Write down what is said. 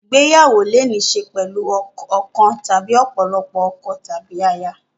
Ìgbéyàwó lè ní í ṣe pẹ̀lú ọ̀kan tàbí ọ̀pọ̀lọpọ̀ ọkọ tàbí aya.